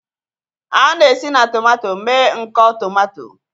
A na-esi na tomato mee nkọ tomato